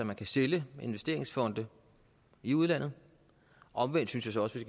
man kan sælge investeringsfonde i udlandet omvendt synes jeg også vi